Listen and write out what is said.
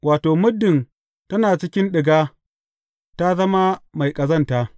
Wato, muddin tana cikin ɗiga, ta zama mai ƙazanta.